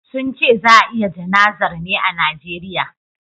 sunce za a yi jana'zar ne a Nigeria